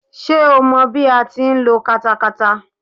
Ṣé o mọ bí a ti ń lo katakata.